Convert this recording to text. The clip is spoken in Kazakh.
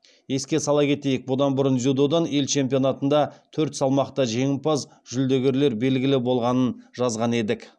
еске сала кетейік бұдан бұрын дзюдодан ел чемпионатында төрт салмақта жеңімпаз жүлдегерлер белгілі болғанын жазған едік